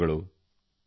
ಧನ್ಯವಾದಗಳು